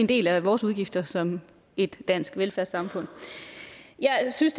del af vores udgifter som et dansk velfærdssamfund jeg synes